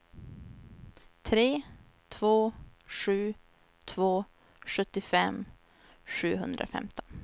tre två sju två sjuttiofem sjuhundrafemton